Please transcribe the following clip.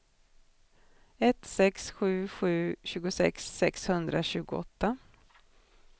ett sex sju sju tjugosex sexhundratjugoåtta